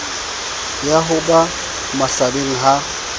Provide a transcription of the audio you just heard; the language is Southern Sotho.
ya ho ba mahlabeng ha